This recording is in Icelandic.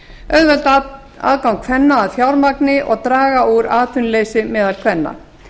auðvelda aðgang kvenna að fjármagni og draga úr atvinnuleysi meðal kvenna